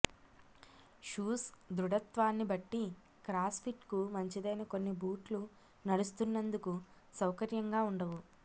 shoes దృఢత్వాన్ని బట్టి cross ఫిట్కు మంచిదైన కొన్ని బూట్లు నడుస్తున్నందుకు సౌకర్యంగా ఉండవు